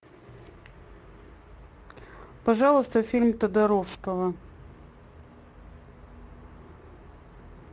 пожалуйста фильм тодоровского